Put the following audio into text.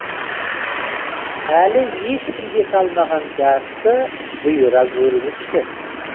әлі ешкім жете алмаған жасты бұйыра гөріңізші